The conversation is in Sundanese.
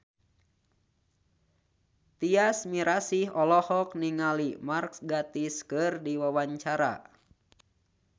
Tyas Mirasih olohok ningali Mark Gatiss keur diwawancara